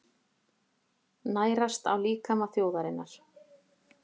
Nærast á líkama þjóðarinnar.